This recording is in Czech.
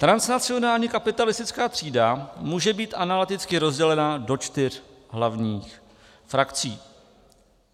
Transnacionální kapitalistická třída může být analyticky rozdělená do čtyř hlavních frakcí.